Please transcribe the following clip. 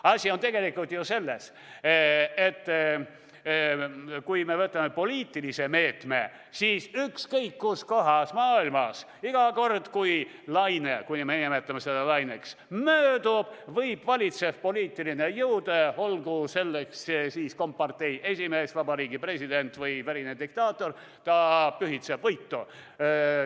Asi on tegelikult ju selles, et kui me võtame poliitilise meetme, siis ükskõik kus kohas maailmas iga kord, kui laine – kui me nimetame seda laineks – möödub, võib valitsev poliitiline jõud, olgu selleks kompartei esimees, Vabariigi President või verine diktaator, pühitseda võitu.